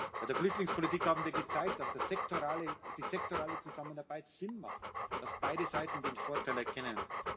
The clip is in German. Bei der Flüchtlingspolitik haben wir gezeigt, dass die sektorale Zusammenarbeit Sinn macht dass beide Seiten den Vorteil erkennen.